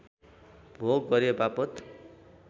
भोग गरेवापत